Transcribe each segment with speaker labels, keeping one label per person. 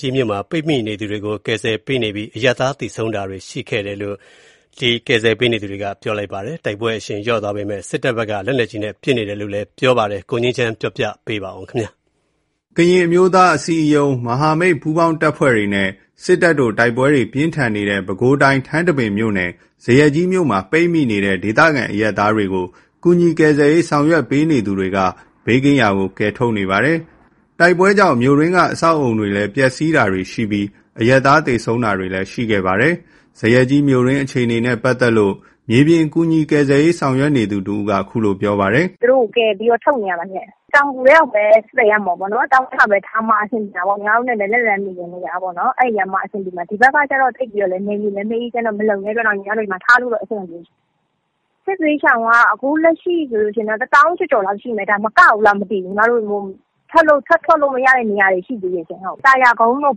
Speaker 1: ကြီးမြို့မှာ ပိတ်မိနေသူတွေကို ကယ်ဆယ်ရေး လုပ်ဆောင်နေပြီး အရပ်သား ထိခိုက်သေဆုံးတာတွေရှိတယ်လို့ ကူညီကယ်ဆယ်ပေးနေသူတွေကဆိုပါတယ်။ တိုက်ပွဲအရှိန်လျော့သွားပေမယ့် စစ်တပ်ဘက်က လက်နက်ကြီးနဲ့ ပစ်ခတ်နေတယ်လို့လည်း ပြောပါတယ်။ ပဲခူးတိုင်းထဲက တိုက်ပွဲ အခြေအနေတွေကို ကိုငြိမ်းချမ်းက ပြောပြပါမယ်။ ကရင်အမျိုးသား အစည်းအရုံး ၊ မဟာမိတ်ပူးပေါင်းတပ်ဖွဲ့တွေနဲ့ စစ်တပ်တို့ တိုက်ပွဲတွေပြင်းထန်နေတဲ့ ပဲခူးတိုင်း ထန်တပင်မြို့နယ် ဇရပ်ကြီးမြို့မှာ ပိတ်မိနေတဲ့ ဒေသခံအရပ်သားတွေကို ကူညီကယ်ဆယ်ရေး ဆောင်ရွက်ပေးနေသူတွေက ဘေးကင်းရာကို ကယ်ထုတ်နေပါတယ်။ တိုက်ပွဲကြောင့် မြို့တွင်းက အဆောက်အဦးတွေလည်း ပျက်စီးတာရှိပြီး အရပ်သား သေဆုံးတာတွေလည်း ရှိခဲ့ပါတယ်။ ဇရပ်ကြီးမြို့တွင်းအခြေအနေနဲ့ ပတ်သက်လို့ မြေပြင် ကူညီကယ်ဆယ်ရေး ဆောင်ရွက်နေသူတဦးက အခုလို ပြောပြပါတယ်
Speaker 2: ။ “သူတို့ကို ကယ်ထုတ်နေတာပါ။ တောင်ငူထဲမှာပဲထားမှ အဆင်ပြေမှာပါ။ ညီမတို့လည်း လက်လှမ်းမှီတဲ့နေရာပေါ့နော်။ ဒီဘက်က နယ်မြေလည်း မအေးချမ်းတော့ ထားလို့ အဆင်မပြေဘူး။ စစ်ဘေးရှောင်က လက်ရှိ ၁ သောင်းကျော်ကျော်လောက်ရှိမယ် မကဘူးလားမသိဘူး။ ထပ်ထွက်လို့ မရတဲ့ နေရာတွေရှိသေးတယ်။ သာယာကုန်းတို့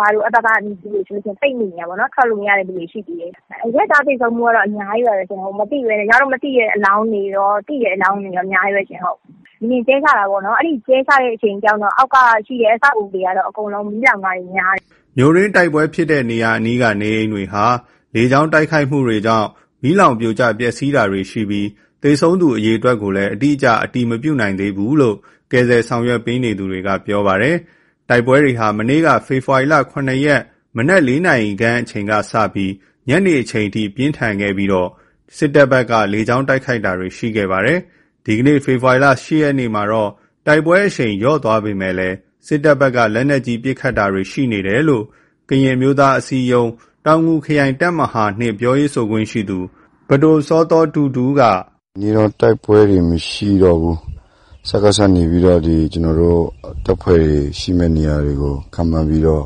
Speaker 2: ဘာတို့ဆို အဲ့ဘက်မှာ ပိတ်မိနေတာပေါ့နော်။ ထွက်လို့မရတဲ့လူတွေ ရှိသေးတယ်။ အရပ်သား သေဆုံးမှုကတော့ အများကြီးပဲ။ မသိတဲ့အလောင်းတွေကော သိတဲ့အလောင်းတွေကော အများကြီးပဲ။ လေယာဉ်ကြဲချတာပေါ့နော်။ လေယာဉ်ကြဲချတာကြောင့် အောက်က အဆောက်အဦးတွေက မီးလောင်တာတွေများတယ်
Speaker 1: ။” မြို့တွင်း တိုက်ပွဲဖြစ်တဲ့နေရာအနီးက နေအိမ်တွေဟာ လေကြောင်းတိုက်ခိုက်တာကြောင့် မီးလောင်ပြိုကျပျက်စီးတာတွေရှိပြီး သေဆုံးသူအရေအတွက်ကို အတိအကျ အတည်မပြုနိုင်သေးဘူးလို့လည်း ကယ်ဆယ်ရေး ဆောင်ရွက်ပေးနေသူတွေက ပြောပါတယ်။ တိုက်ပွဲတွေဟာ မနေ့ ဖေဖော်ဝါရီ ၇ ရက် မနက် ၄ နာရီခန့် လင်းအားကြီးအချိန်ကစလို့ ညနေအထိ ပြင်းထန်ခဲ့ပြီး စစ်တပ်ဘက်က လေကြောင်းတိုက်ခိုက်တာတွေ ရှိခဲ့ပါတယ်။ ဒီကနေ့ ဖေဖော်ဝါရီ ၈ ရက်မှာတော့ တိုက်ပွဲအရှိန် လျော့သွားပေမယ့် စစ်တပ်ဘက်က လက်နက်ကြီး ပစ်ခတ်တာတွေ ရှိနေတယ်လို့ ကရင်အမျိုးသား အစည်းအရုံး တောင်ငူခရိုင် တပ်မဟာ ၂ ပြောရေးဆိုခွင့်ရှိသူ ပ
Speaker 3: ဒို စောသောတူထူးက “ဒီနေ့တော့ တိုက်ပွဲတွေမရှိတော့ဘူး။ စကစကနေပြီးတော့ ကျွန်တော်တို့ တပ်ဖွဲ့တွေ ရှိမယ့်နေရာတွေကို ခန့်မှန်းပြီးတော့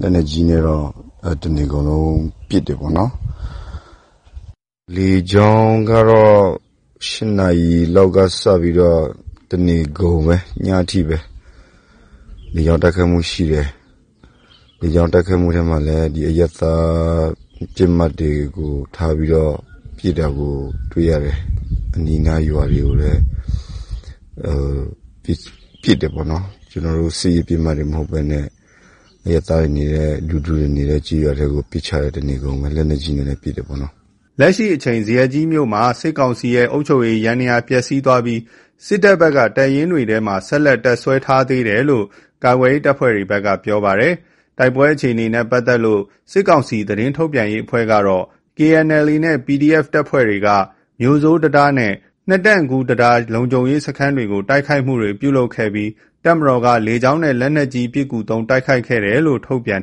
Speaker 3: လက်နက်ကြီးနဲ့တော့ တနေကုန်လုံး ပစ်တယ်ပေါ့နော်။ လေကြောင်းကတော့ ၈ နာရီ လောက်ကစပြီးတော့ တနေကုန် ညအထိပဲ လေကြောင်း တိုက်ခိုက်မှုရှိတယ်။ လေကြောင်းတိုက်ခိုက်မှုမှာ အရပ်သား ပစ်မှတ်တွေကို ထားပြီးတော့ ပစ်တာကိုတွေ့ရတယ်။ အနီးနားရွာတွေကိုလည်း ပစ်တယ်ပေါ့နော်။ ကျွန်တော်တို့ စစ်ရေးပစ်မှတ်တွေမဟုတ်ဘဲ အရပ်သားတွေနေတဲ့ လူထုတွေနေတဲ့ ကျေးရွာတွေထဲကို ပစ်ချတယ် တနေကုန်ပဲ။ လက်နက်ကြီးနဲ့လည်း ပစ်တယ်ပေါ့နော်။” လက်
Speaker 1: ရှိအချိန် ဇရပ်ကြီးမြို့မှာ စစ်ကောင်စီရဲ့ အုပ်ချုပ်ရေး ယန္တရားပျက်စီးသွားပြီး စစ်တပ်ဘက်က တပ်ရင်းတွေထဲမှာ ဆက်လက်တပ်စွဲထားသေးတယ်လို့ ကာကွယ်ရေးတပ်ဖွဲ့တွေဘက်က ပြောပါတယ်။ တိုက်ပွဲအခြေအနေနဲ့ ပတ်သက်လို့ စစ်ကောင်စီ သတင်းထုတ်ပြန်ရေးအဖွဲ့ကတော့ KNLA နဲ့ PDF တပ်ဖွဲ့တွေက မြို့ဆိုးတံတားနဲ့ နှစ်တန့်ကူးတံတား လုံခြုံရေး စခန်းတွေကို တိုက်ခိုက်မှုပြုလုပ်ခဲ့ပြီး တပ်မတော်က လေကြောင်းနဲ့လက်နက်ကြီး ပစ်ကူသုံးတိုက်ခိုက်ခဲ့တယ်လို့ ထုတ်ပြန်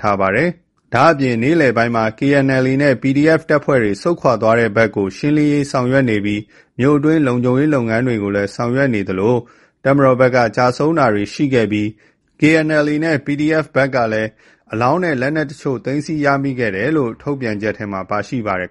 Speaker 1: ထားပါတယ်။ ဒါ့အပြင် နေ့လည်ပိုင်းမှာ KNLA နဲ့ PDF တပ်ဖွဲ့တွေ ဆုတ်ခွာသွားတဲ့ဘက်ကို ရှင်းလင်းရေးဆောင်ရွက်နေပြီး မြို့အတွင်း လုံခြုံရေး လုပ်ငန်းတွေ ဆောင်ရွက်နေသလို တပ်မတော်ဘက်ကလည်း ကျဆုံးတာတွေရှိခဲ့ပြီး KNLA နဲ့ PDF ဘက်ကလည်း အလောင်းနဲ့ လက်နက်အချို့ သိမ်းဆည်းရမိတယ်လို့ ထုတ်ပြန်ချက်ထဲမှာ ပါရှိပါတယ်